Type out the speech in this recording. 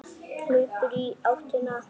Hleypur í áttina að sjónum.